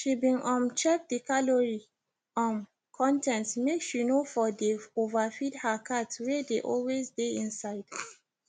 she been um check the calorie um con ten t make she no for dey overfeed her cat wey dey always dey inside